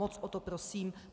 Moc o to prosím.